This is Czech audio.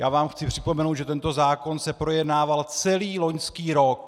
Já vám jen připomenu, že tento zákon se projednával celý loňský rok.